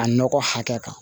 A nɔgɔ hakɛ kan